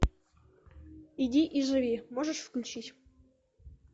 иди и живи можешь включить